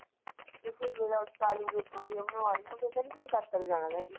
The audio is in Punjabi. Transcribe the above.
ਆਲੂ ਦੀਆ ਪਰੌਠਿਆਂ ਬਣਵਾ ਲਾਇਆਂ ਹੁਣ ਕਹਿੰਦੀ ਤੱਕੜੇ ਨੂੰ ਜਾਣਾ।